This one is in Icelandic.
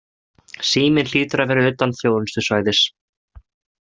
Síminn hlýtur að vera utan þjónustusvæðis.